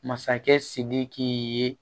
Masakɛ sidiki ye